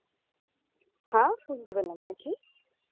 হ্যাঁ শুনতে পেলাম না কি